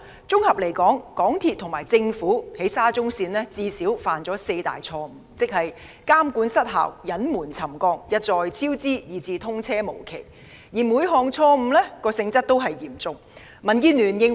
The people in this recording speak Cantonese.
綜合而言，港鐵公司及政府就沙中線項目最少犯了四大錯誤：監管失效、隱瞞沉降、一再超支，以至通車無期，而每項錯誤均嚴重。